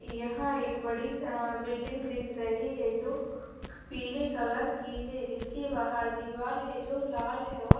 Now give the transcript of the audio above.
यहां एक बड़ी बिल्डिंग दिख रही हैं जो पीले कलर की हैं जिसके बाहर दीवार है जो लाल है और--